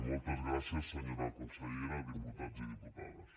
moltes gràcies senyora consellera diputats i diputades